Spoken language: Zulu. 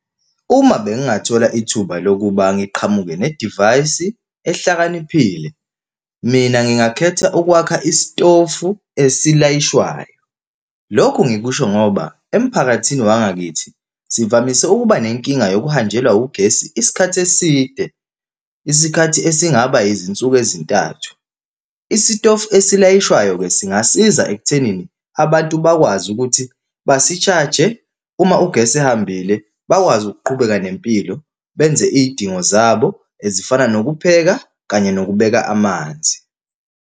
Uma bengingathola ithuba lokuba ngiqhamuke nedivayisi ehlakaniphile, mina ngingakhetha ukwakha istofu esilayishwayo. Lokhu ngikusho ngoba emphakathini wangakithi sivamise ukuba nenkinga bokuhanjelwa ugesi isikhathi eside, isikhathi esingaba izinsuku ezintathu. Isitofu esilayishewayo-ke singasiza ekuthenini abantu bakwazi ukuthi basishaje, uma ugesi ehambile, bakwazi ukuqhubeka nempilo, benze iy'dingo zabo ezifana nokupheka kanye nokubeka amanzi.